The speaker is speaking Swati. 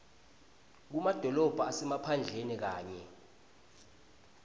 kumadolobha asemaphandleni kanye